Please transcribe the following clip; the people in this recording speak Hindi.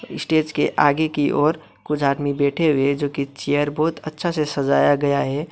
स्टेज के आगे की ओर कुछ आदमी बैठे हुए है जोकि चेयर बहोत अच्छा से सजाया गया है।